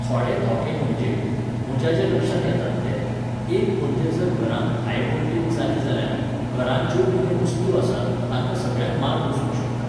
थोडे धोके म्हणजे, म्हज्या जे लक्षांत येतात ते, एक म्हणजे जर घरांत हाय वोलटेज जाली जाल्यार, घरांत ज्यो कितें वस्तू आसात, तांकां सगळ्यांक मार बसूंक शकता.